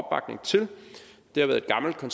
som